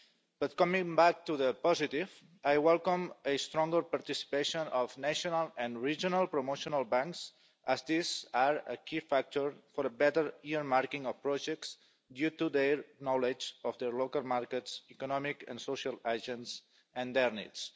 But coming back to the positive, I welcome a stronger participation of national and regional promotional banks, as these are a key factor for a better earmarking of projects due to their knowledge of their local markets, economic and social agents, and their needs.